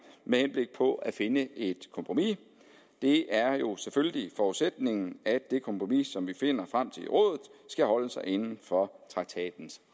med henblik på at finde et kompromis det er jo selvfølgelig forudsætningen at det kompromis som vi finder frem til i rådet skal holde sig inden for traktatens